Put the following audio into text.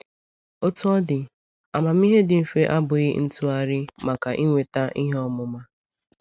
Otú ọ dị, amamihe dị mfe abụghị ntụgharị maka inweta ihe ọmụma.